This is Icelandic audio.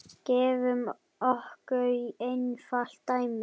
Gefum okkur einfalt dæmi.